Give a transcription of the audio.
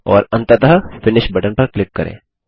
और अंततः finish button पर क्लिक करें